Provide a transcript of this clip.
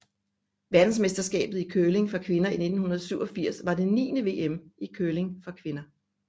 Verdensmesterskabet i curling for kvinder 1987 var det niende VM i curling for kvinder